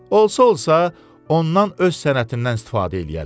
Olsa-olsa ondan öz sənətindən istifadə eləyərlər.